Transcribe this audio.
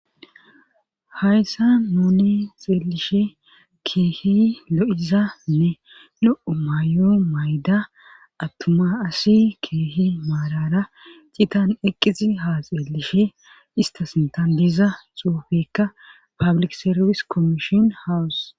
Hayssa nuni xeelishe keehi lo7izanne lo7o mayo mayda attuma asi kiehi maalara citan eqqisi ha xeelishe ista sintan diiza xuufekka pablik serfis kommishon hawus.